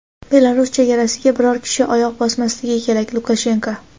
Belarus chegarasiga biror kishi oyoq bosmasligi kerak — Lukashenko.